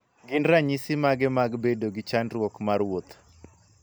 Gin ranysi mage mag bedo gi chandruok mar wuoth?